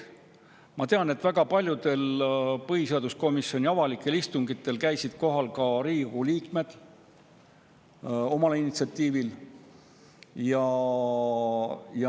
Ma tean, et väga paljudel põhiseaduskomisjoni avalikel istungitel käisid omal initsiatiivil kohal ka Riigikogu liikmed.